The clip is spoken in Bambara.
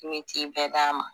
Ne t'i bɛɛ d'a ma